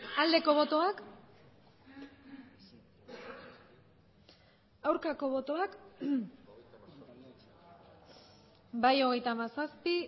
aldeko botoak aurkako botoak bai hogeita hamazazpi